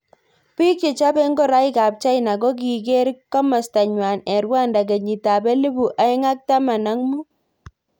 Bik chechopei ngoreik ab China kokiker kimosta nywa eng Rwanda kenyit ab elipu aeng ak taman ak.mut.